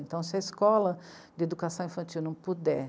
Então se a escola de educação infantil não puder